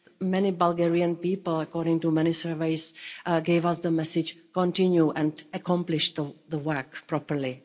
many Bulgarian people, according to many surveys, gave us the message, Continue and accomplish the work properly.